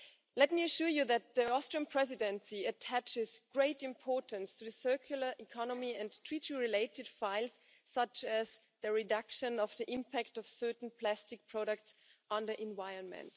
Let me assure you that the Austrian Presidency attaches great importance to the circular economy and Treaty related files such as the reduction of the impact of certain plastic products on the environment.